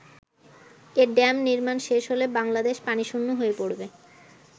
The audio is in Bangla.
এ ড্যাম নির্মাণ শেষ হলে বাংলাদেশ পানি শূণ্য হয়ে পড়বে।